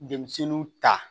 Denmisɛnninw ta